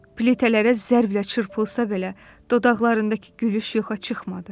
Pletələrə zərblə çırpılsa belə, dodaqlarındakı gülüş yoxa çıxmadı.